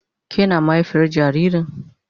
Ke na mahaifiyar jaririn?